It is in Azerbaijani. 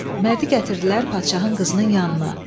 Mərdi gətirdilər padşahın qızının yanına.